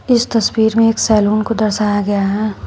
इस तस्वीर में एक सैलून को दर्शाया गया है।